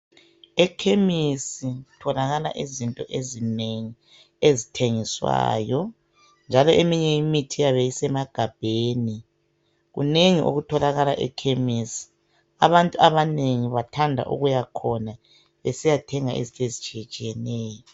Ekhemesi kutholakala izinto ezinengi ezithengiswayo njalo eminye imithi iyabe isemagabheni. Kunengi okutholakala ekhemesi abantu abanengi bathanda ukuya khona besiyathenga izinto ezitshiyetshiyeneyo.